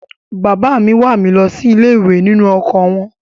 Bàbá mi wà mí lọ sí ilé-ìwé nínú ọkọ̀ wọn.